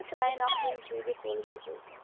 ওটা থেকেই চলছে